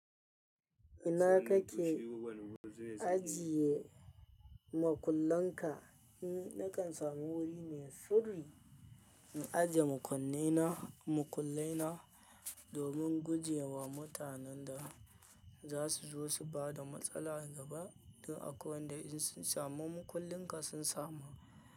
Ina kake ajiye makullan ka? Nakan samu wuri mai sirri in ajiye makullai na domin guje wa mutanen da za su zo su bada matsala gaba don akwai wanda in sun samu makullin ka sun samu.